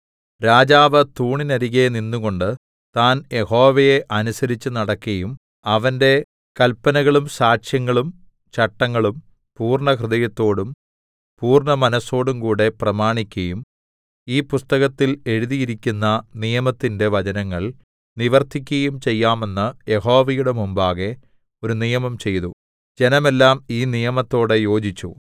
രാജാവ് തൂണിനരികെ നിന്നുകൊണ്ട് താൻ യഹോവയെ അനുസരിച്ചുനടക്കയും അവന്റെ കല്പനകളും സാക്ഷ്യങ്ങളും ചട്ടങ്ങളും പൂർണ്ണഹൃദയത്തോടും പൂർണ്ണമനസ്സോടുംകൂടെ പ്രമാണിക്കയും ഈ പുസ്തകത്തിൽ എഴുതിയിരിക്കുന്ന നിയമത്തിന്റെ വചനങ്ങൾ നിവർത്തിക്കയും ചെയ്യാമെന്ന് യഹോവയുടെ മുമ്പാകെ ഒരു നിയമം ചെയ്തു ജനമെല്ലാം ഈ നിയമത്തോട് യോജിച്ചു